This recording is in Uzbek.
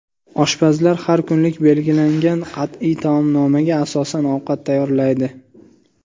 Oshpazlar har kunlik belgilangan qat’iy taomnomaga asosan ovqat tayyorlaydi.